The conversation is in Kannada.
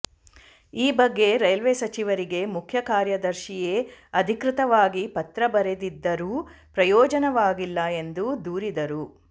ಈ ಬಗ್ಗೆ ರೈಲ್ವೆ ಸಚಿವರಿಗೆ ಮುಖ್ಯ ಕಾರ್ಯದರ್ಶಿಯೇ ಅಧಿಕೃತವಾಗಿ ಪತ್ರ ಬರೆದಿದ್ದರೂ ಪ್ರಯೋಜನವಾಗಿಲ್ಲ ಎಂದು ದೂರಿದರು